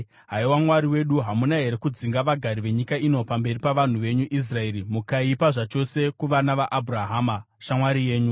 Haiwa Mwari wedu, hamuna here kudzinga vagari venyika ino pamberi pavanhu venyu Israeri mukaipa zvachose kuvana vaAbhurahama, shamwari yenyu?